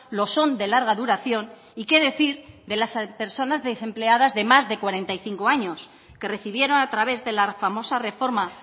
lo son de larga duración y qué decir de las personas desempleadas de más de cuarenta y cinco años que recibieron a través de la famosa reforma